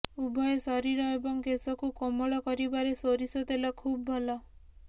ଉଭୟ ଶରୀର ଏବଂ କେଶକୁ କୋମଳ କରିବାରେ ସୋରିଷ ତେଲ ଖୁବ୍ ଭଲ